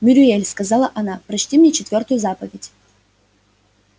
мюриель сказала она прочти мне четвертую заповедь